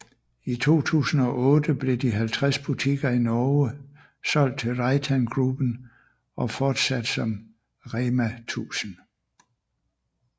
I 2008 blev de 50 butikker i Norge solgt til Reitangruppen og fortsat som REMA 1000